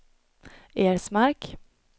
Ersmark